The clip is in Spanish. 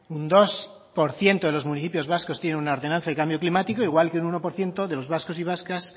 un dos por ciento de los municipios vascos tienen una ordenanza de cambio climático igual que un uno por ciento de los vascos y vascas